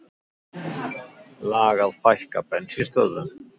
Lag að fækka bensínstöðvum